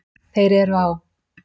Þeir eru á